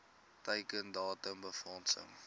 teiken datum befondsing